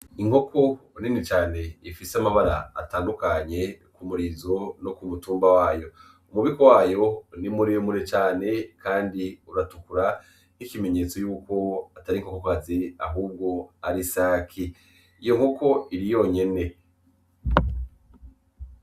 Inkoko nini cane ifise amabara atandukanye k'umurizo no kumutumba wayo umubeko wayo ni mure mure cane kandi uratukura n' ikimenyetso yuko atari inkoko kazi ahubwo ari isake iyo nkoko iri yonyene.